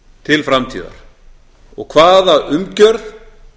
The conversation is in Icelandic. til framtíðar og hvaða umgjörð